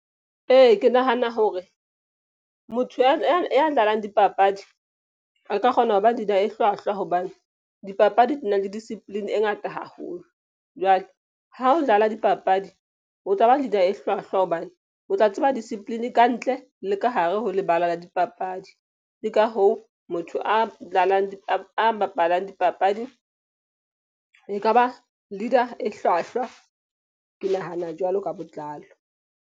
Ee, ke nahana hore motho ya dlalang dipapadi a ka kgona hoba leader e hlwahlwa. Hobane dipapadi di na le discipline e ngata haholo. Jwale ha o dlala dipapadi o tlaba leader e hlwahlwa. Hobane o tla tseba discipline kantle le ka hare ho lebala la dipapadi. Ke ka hoo motho a dlalang a bapalang dipapadi e kaba leader-a e hlwahlwa. Ke nahana jwalo ka botlalo.